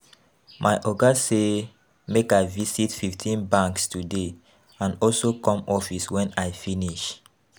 My Oga say make I visit fifteen banks today and also come office wen I finish